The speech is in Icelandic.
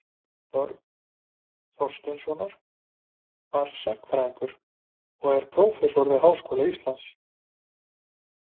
björn þorsteinsson var sagnfræðingur og prófessor við háskóla íslands